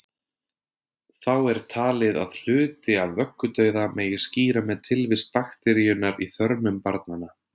Þá er talið að hluti af vöggudauða megi skýra með tilvist bakteríunnar í þörmum barnanna.